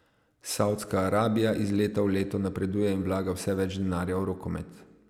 Savdska Arabija iz leta v leto napreduje in vlaga vse več denarja v rokomet.